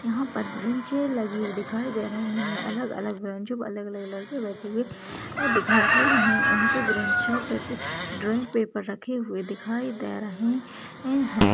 यहाँ पर ब्रांचे लगी हुई दिखाई दे रही है अलग अलग बेंचो पर अलग अलग लड़के बैठी हुई दिखात वे रहे उनके ब्रेच्छों पे पे ड्राइंग पेपर रखे हुए दिखाई दे रहे है।